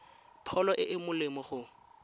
pholo e e molemo go